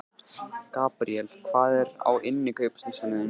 Gabríel, hvað er á innkaupalistanum mínum?